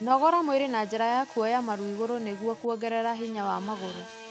Nogora mwĩrĩ na njĩra kũoya maru igũrũ nĩguo kũongerera hinya wa magũrũ.